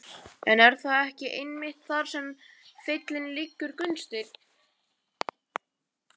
En er það ekki einmitt þar sem feillinn liggur Gunnsteinn?